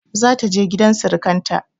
Za ta je gidan sirikanta.